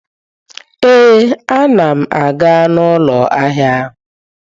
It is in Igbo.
Ee, a na m aga ụlọ ahịa ahụ.